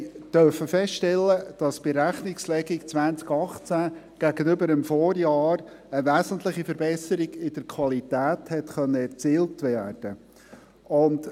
Wir haben feststellen dürfen, dass bei der Rechnungslegung 2018 gegenüber dem Vorjahr eine wesentliche Verbesserung in der Qualität erzielt werden konnte.